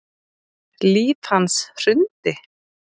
Líf hans hrundi